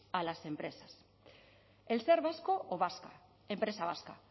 a las empresas el ser vasco o vasca empresa vasca